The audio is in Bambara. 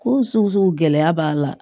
Ko sugu gɛlɛya b'a la